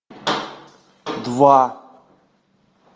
два